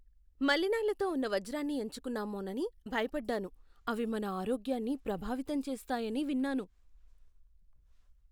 మలినాలతో ఉన్న వజ్రాన్ని ఎంచుకున్నామోనని భయపడ్డాను. అవి మన ఆరోగ్యాన్ని ప్రభావితం చేస్తాయని విన్నాను.